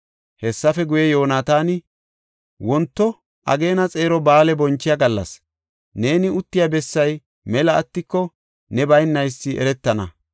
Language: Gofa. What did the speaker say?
Hessafe guye, Yoonataani, “Wonto ageena xeero ba7aale bonchiya gallas; neeni uttiya bessay mela attiko ne baynaysi eretana.